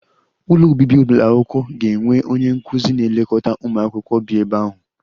Ụlọ obibi ụlọ akwụkwọ ga-enwe onye nkụzi na-elekọta ụmụ akwụkwọ bi ebe ahụ